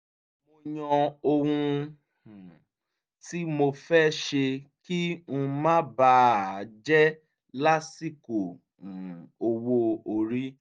mo yàn ohun um tí mo fẹ́ ṣe kí n má bà á jẹ́ lásìkò um owó orí